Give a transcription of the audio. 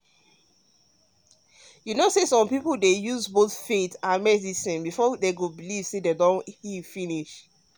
you know say some people dey use both faith and medicine before dem heal before dem heal finish.